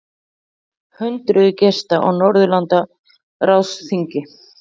Hundruðir gesta á Norðurlandaráðsþingi